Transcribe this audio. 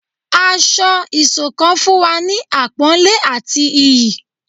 Ásọ̀-ìsokán fún wa ni àpónlé àti ìyí